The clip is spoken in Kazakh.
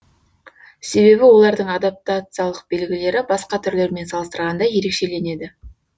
себебі олардың адаптациялық белгілері басқа түрлермен салыстырғанда ерекшеленеді